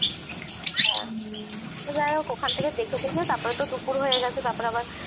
তো যাইহোক ওখান থেকে দেখে টেখে তারপরে তো দুপুর হয়ে গেছে তারপরে আবার